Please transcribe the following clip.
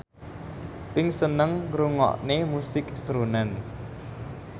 Pink seneng ngrungokne musik srunen